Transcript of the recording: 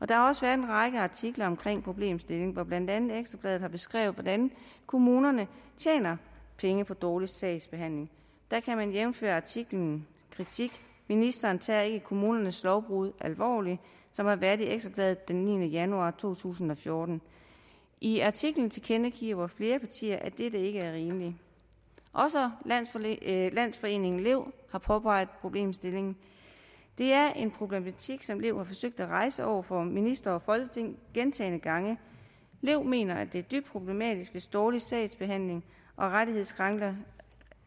der har også været en række artikler omkring problemstillingen hvor blandt andet ekstra bladet har beskrevet hvordan kommunerne tjener penge på dårlig sagsbehandling jævnfør artiklen kritik ministeren tager ikke kommunernes lovbrud alvorligt som har været i ekstra bladet den niende januar to tusind og fjorten i artiklen tilkendegiver flere partier at dette ikke er rimeligt også landsforeningen landsforeningen lev har påpeget problemstillingen det er en problematik som lev har forsøgt at rejse over for ministre og folketing gentagne gange lev mener det er dybt problematisk hvis dårlig sagsbehandling og rettighedskrænkelser